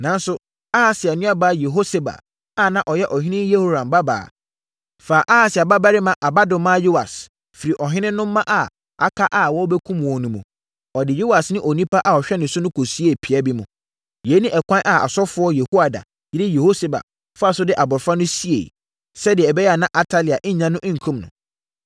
Nanso, Ahasia nuabaa Yehoseba, a na ɔyɛ ɔhene Yehoram babaa, faa Ahasia babarima abadomaa Yoas firii ɔhene no mma a aka a wɔrebɛkum wɔn no mu. Ɔde Yoas ne onipa a ɔhwɛ no no kɔsiee pia bi mu. Yei ne ɛkwan a ɔsɔfoɔ Yehoiada yere Yehoseba faa so de abɔfra no sieeɛ, sɛdeɛ ɛbɛyɛ na Atalia nnya no nkum no.